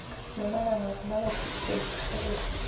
nomalanga rona bathusi babelegi re